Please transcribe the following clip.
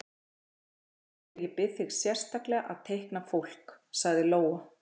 Bara þegar ég bið þig sérstaklega að teikna fólk, sagði Lóa.